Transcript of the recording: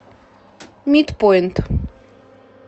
митпоинт